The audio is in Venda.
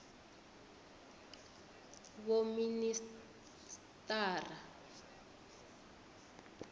vhoministara